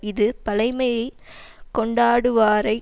இது பழைமையைக் கொண்டாடுவாரை